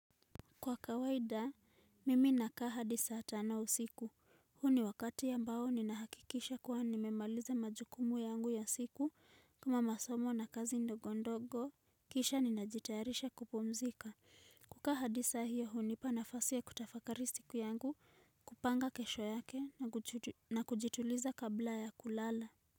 Kwa kawaida, mimi nakaa hadi saa tano siku, huu ni wakati ambao ninahakikisha kuwa nimemaliza majukumu yangu ya siku kama masomo na kazi ndogondogo. Kisha ninajitayarisha kupumzika. Kukaa hadi saa hio hunipa nafasi ya kutafakari siku yangu, kupanga kesho yake na kujituliza kabla ya kulala.